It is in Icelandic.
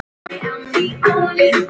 Ég er óð.